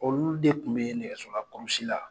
Olu de kun be nɛgɛso la kurusi la